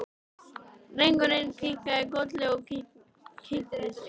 Drengurinn kinkaði kolli og kynnti sig.